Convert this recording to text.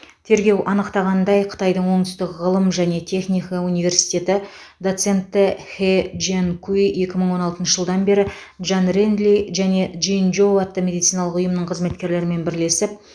тергеу анықтағандай қытайдың оңтүстік ғылым және техника университеті доценті хэ джянкуй екі мың он алтыншы жылдан бері джан ренли және джин жоу атты медициналық ұйымның қызметкерлерімен бірлесіп